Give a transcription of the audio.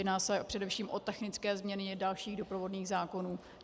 Jedná se především o technické změny dalších doprovodných zákonů.